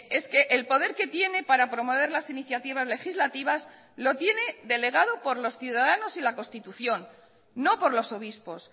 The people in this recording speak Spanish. es que el poder que tiene para promover las iniciativas legislativas lo tiene delegado por los ciudadanos y la constitución no por los obispos